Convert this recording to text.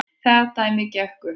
Það dæmi gekk ekki upp.